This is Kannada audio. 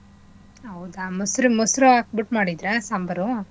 ಹೌದಾ ಮೊಸ್ರ್~ ಮೊಸ್ರು ಹಾಕ್ಬಿಟ್ ಮಾಡಿದ್ರ ಸಾಂಬಾರು?